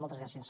moltes gràcies